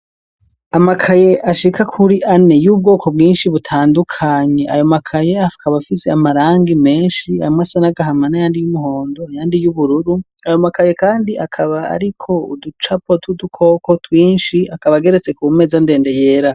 Amakaye ashika kuri ane yo mubwoko bwinshi butandukanye ayo makaye akaba afise amarangi menshi amwe asa nagahama nandi asa n'umuhon do ayandi y'ubururu ayo makaye kandi akaba ariko uducapo tw'udukoko twinshi akaba ageretse kumeza ndende yera.